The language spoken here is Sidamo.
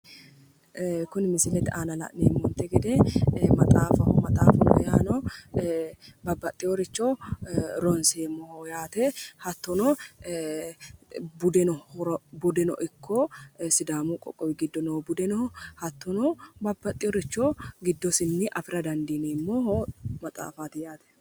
Kuni misilete aana la'neemmonte gede maxaafaho babbaxinore ronseemmoho hattono sidaamunire babbaxinore ronseemmoho